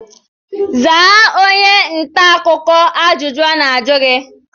Zaa onye ntaakụkọ ajụjụ ọ na-ajụ gi!